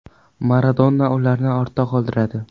Maradona ularni ortda qoldiradi.